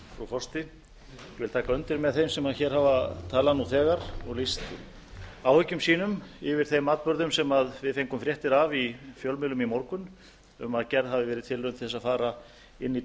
taka undir með þeim sem hér hafa talað nú þegar og lýst áhyggjum sínum yfir þeim atburðum sem við fengum fréttir af í fjölmiðlum í morgun um að gerð hafi verið tilraun til að fara inn í